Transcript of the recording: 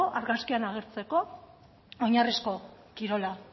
argazkian agertzeko oinarrizko kirola